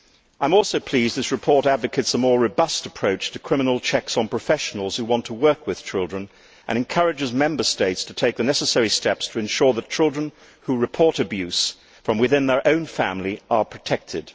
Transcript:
I am also pleased this report advocates a more robust approach to criminal checks on professionals who want to work with children and encourages Member States to take the necessary steps to ensure that children who report abuse from within their own family are protected.